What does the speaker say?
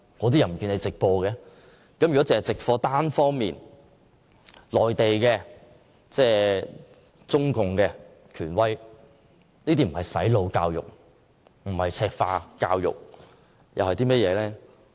單方面直播內地中共權威的發言，不是"洗腦"和"赤化"教育，又會是甚麼呢？